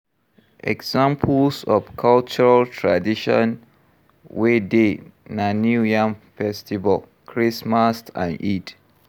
Examples of cultural tradition wey dey na new yam festival, christmas and eid